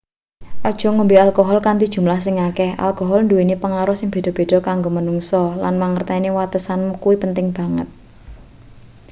aja ngombe alkohol kanthi jumlah sing akeh alkohol nduweni pengaruh sing beda-beda kanggo manungsa lan mangerteni watesanmu kuwi penting banget